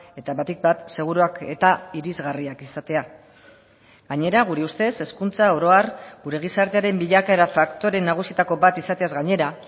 eta batik bat seguruak eta irisgarriak izatea gainera gure ustez hezkuntza orohar gure gizartearen bilakaera faktore nagusietako bat izateaz gainera